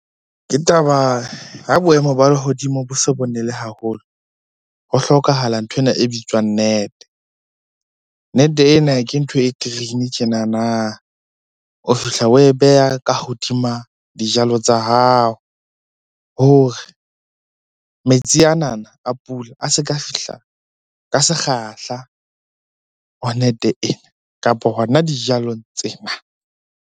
Ke taba, ha boemo ba lehodimo bo so bo nele haholo ho hlokahala nthwena e bitswang net-e. Net-e ena ke ntho e green tjenana. O fihla oe beha ka hodima dijalo tsa hao hore metsi anana a pula a se ka fihla ka sekgahla ho net-e ena, kapa hona dijalong tsena.